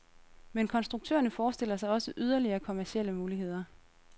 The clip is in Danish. Men konstruktørerne forestiller sig også yderligere kommercielle muligheder.